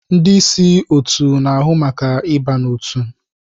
Ndị ịsị otu n'ahụ maka ịba n'otu.